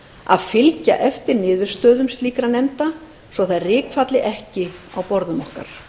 að fylgja eftir niðurstöðum slíkra nefnda svo þær rykfalli ekki á borðum okkar